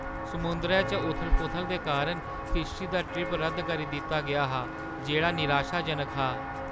समुंदरै च उथल-पुथल दे कारण किश्ती दा ट्रिप रद्द करी दित्ता गेआ हा जेह्‌ड़ा निराशाजनक हा।